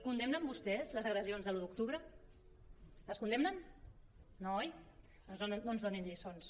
condemnen vostès les agressions de l’un d’octubre les condemnen no oi doncs no ens donin lliçons